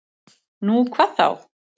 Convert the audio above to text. Nú, hvað þá!